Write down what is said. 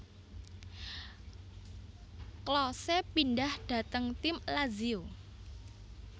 Klose pindhah dhateng tim Lazio